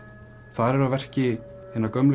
þar eru að verki hinar gömlu